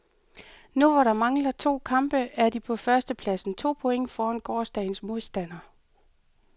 Nu, hvor der mangler to kampe, er de på første pladsen, to points foran gårsdagens modstander.